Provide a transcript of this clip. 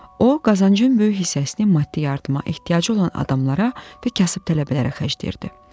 O qazancın böyük hissəsini maddi yardıma ehtiyacı olan adamlara və kasıb tələbələrə xərcləyirdi.